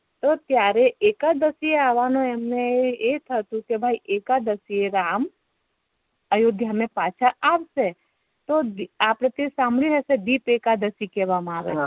તો ત્યારે એકાદશી એ આવ વા નો એમ ને એ હતું કે ભાઈ એકાદશી રામ અયોધ્યા મે પાછા આવશે તો અપેડે તે સાંભળી હશે એકાદશી કેહવામા આવે છે